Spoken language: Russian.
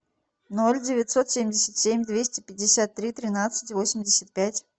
ноль девятьсот семьдесят семь двести пятьдесят три тринадцать восемьдесят пять